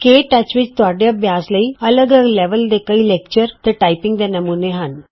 ਕੇ touch ਵਿੱਚ ਤੁਹਾਡੇ ਅਭਿਆਸ ਲਈ ਅੱਲਗ ਅੱਲਗ ਲੈਵਲ ਦੇ ਕਈ ਲੈਕਚਰ ਤੇ ਟਾਈਪਿੰਗ ਦੇ ਨਮੂਨੇ ਹਨ